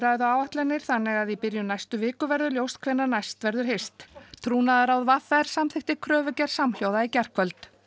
viðræðuáætlanir þannig að í byrjun næstu viku verður ljóst hvenær næst verður hist trúnaðarráð v r samþykkti kröfugerð samhljóða í gærkvöld